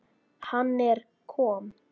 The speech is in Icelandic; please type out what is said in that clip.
Hann er kom